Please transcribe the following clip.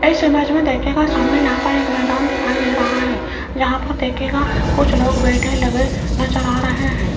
इस इमेज में देखिएगा सामने यहाँ पर एक मैदान दिखाई दे रहा है यहाँ पर देखिएगा कुछ लोग बैठे लगे नजर आ रहे हैं।